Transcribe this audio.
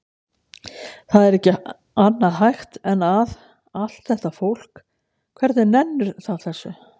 Það er ekki annað hægt en að. allt þetta fólk, hvernig nennir það þessu?